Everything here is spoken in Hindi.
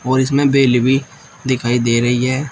और इसमें बेले भी दिखाई दे रही है।